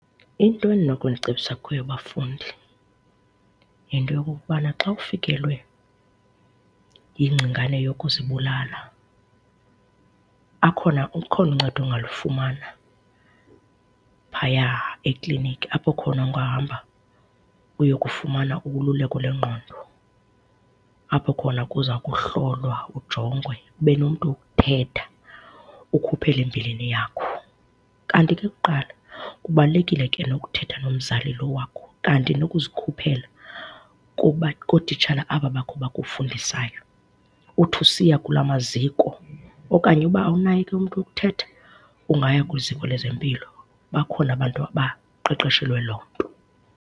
Into endinokunicebisa kuyo, bafundi, yinto yokokubana xa ufikelwe yingcingane yokuzibulala akhona, ukhona uncedo ongalufumana phaya ekliniki, apho khona ungahamba uyokufumana ululeko lwengqondo, apho khona kuza kuhlolwa ujongwe, ube nomntu wokuthetha ukhuphe le mbilini yakho. Kanti ke kuqala kubalulekile ke nokuthetha nomzali lo wakho, kanti nokuzikhuphela kootitshala aba bakho bakufundisayo. Uthi usiya kulaa maziko okanye uba awunaye ke umntu wokuthetha ungaya kwiziko lezempilo, bakhona abantu abaqeqeshelwe loo nto.